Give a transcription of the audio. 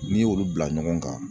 N'i y'olu bila ɲɔgɔn kan.